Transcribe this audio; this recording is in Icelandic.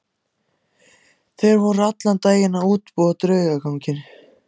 Þeir voru allan daginn að útbúa draugaganginn.